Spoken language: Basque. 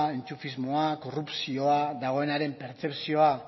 enchufismoa korrupzioa dagoenaren pertzepzioa